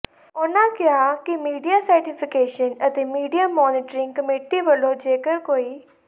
ਉਨ੍ਹਾਂ ਕਿਹਾ ਕਿ ਮੀਡੀਆ ਸਰਟੀਫੀਕੇਸ਼ਨ ਤੇ ਮੀਡੀਆ ਮੋਨੀਟਰਿੰਗ ਕਮੇਟੀ ਵਲੋਂ ਜੇਕਰ ਕੋਈ